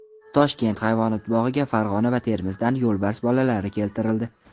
Toshkent hayvonot bog‘iga Farg‘ona va Termizdan yo‘lbars bolalari keltirildi.